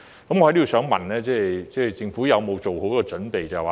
我在此想問政府有否做好準備？